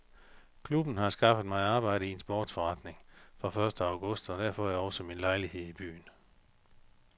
Klubben har skaffet mig arbejde i en sportsforretning fra første august og der får jeg også min egen lejlighed i byen.